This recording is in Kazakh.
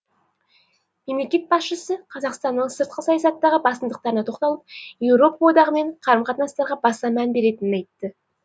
мемлекет басшысы қазақстанның сыртқы саясаттағы басымдықтарына тоқталып еуропа одағымен қарым қатынастарға баса мән беретінін айтты